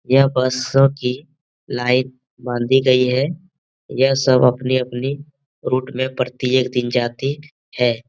यह बसों की लाइन बाँधी गयी है | यह सब अपनी अपनी रुट में प्रत्येक दिन जाती है |